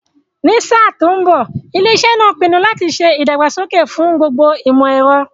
Ní sáà tó ń bọ̀, ilé iṣẹ́ ń pinu láti ṣe ìdàgbàsókè fún gbogbo ìmọ̀ ẹ̀rọ